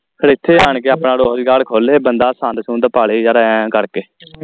ਫਿਰ ਇੱਥੇ ਆਣ ਕੇ ਆਪਣਾ ਰੋਜਗਾਰ ਖੋਲ੍ਹੇ ਬੰਦਾ ਸੰਦ ਸੁੰਦ ਪਾ ਲੈ ਯਾਰ ਐ ਕਰਕੇ